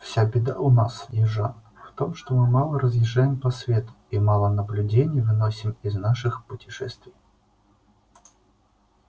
вся беда у нас южан в том что мы мало разъезжаем по свету или мало наблюдений выносим из наших путешествий